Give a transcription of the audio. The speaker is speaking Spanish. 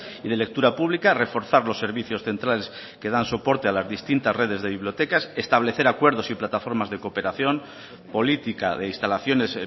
y de lectura pública reforzar los servicios centrales que dan soportes a las distintas redes de bibliotecas establecer acuerdos y plataformas de cooperación política de instalaciones